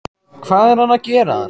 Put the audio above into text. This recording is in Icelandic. Hvað er hann að gera þar?